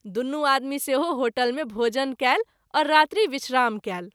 दुनू आदमी सेहो होटल मे भोजन कएल और रात्रि विश्राम कएल।